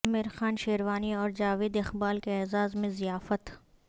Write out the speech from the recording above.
امیر خان شیروانی اور جاوید اقبال کے اعزاز میں ضیافت